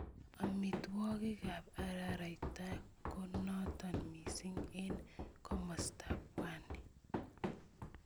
Amitwogiikab araraita ko nootin missing eng komastab pwani.